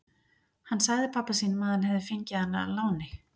Hann sagði pabba sínum að hann hefði fengið hana að láni.